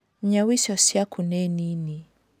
nyau icio ciaku nĩ nini